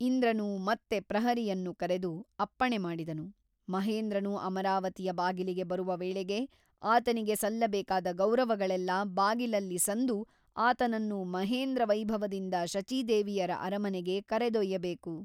ಇಂದ್ರನು ಮತ್ತೆ ಪ್ರಹರಿಯನ್ನು ಕರೆದು ಅಪ್ಪಣೆ ಮಾಡಿದನು ಮಹೇಂದ್ರನು ಅಮರಾವತಿಯ ಬಾಗಿಲಿಗೆ ಬರುವ ವೇಳೆಗೆ ಆತನಿಗೆ ಸಲ್ಲಬೇಕಾದ ಗೌರವಗಳೆಲ್ಲ ಬಾಗಿಲಲ್ಲಿ ಸಂದು ಆತನನ್ನು ಮಹೇಂದ್ರವೈಭವದಿಂದ ಶಚೀದೇವಿಯರ ಅರಮನೆಗೆ ಕರೆದೊಯ್ಯಬೇಕು.